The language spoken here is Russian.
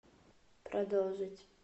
продолжить